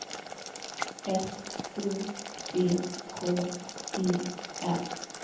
S O C K E R